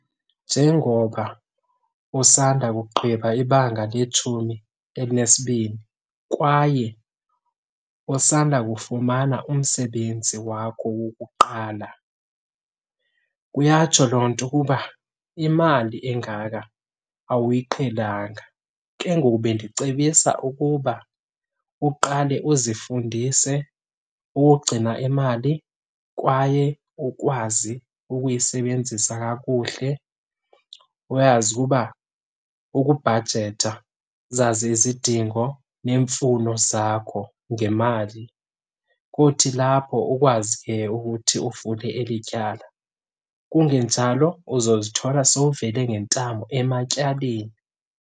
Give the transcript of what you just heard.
Njengoba usanda kugqiba ibanga letshumi elinesibini kwaye usanda kufumana umsebenzi wakho wokuqala, kuyatsho loo nto ukuba imali engaka awuyiqhelanga. Ke ngoku bendicebisa ukuba uqale uzifundise ukugcina imali kwaye ukwazi ukuyisebenzisa kakuhle uyazi ukuba ukubhajetha, uzazi izidingo neemfuno zakho ngemali. Kothi lapho ukwazi ke ukuthi ufune eli tyala, kungenjalo uzozithola sowuvele ngentamo ematyaleni.